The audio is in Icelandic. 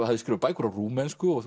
hafði skrifað bækur á rúmensku og